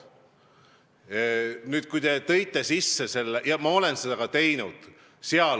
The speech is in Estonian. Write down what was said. Ma olen seda ka teinud.